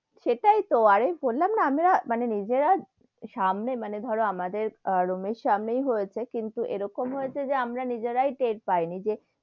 সেটাই তো আরে বললাম না আমরা মানে নিজেরা সামনে মানে ধরো আমাদের আহ room এর সামনেই হয়েছে, কিন্তু এরকম হয়েছে যে আমরা নিজেরাই টের পাই নি যে,